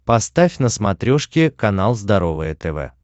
поставь на смотрешке канал здоровое тв